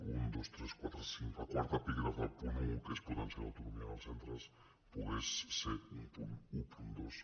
un dos tres quatre cinc el quart epígraf del punt un que és potenciar l’autonomia dels centres pogués ser un punt dotze